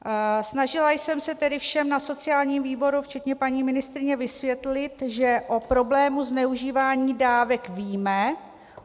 Snažila jsem se tedy všem na sociálním výboru včetně paní ministryně vysvětlit, že o problému zneužívání dávek víme.